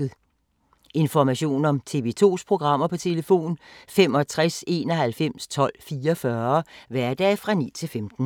Information om TV 2's programmer: 65 91 12 44, hverdage 9-15.